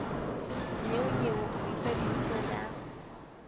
nnyeonyeo o bitsa lebitso la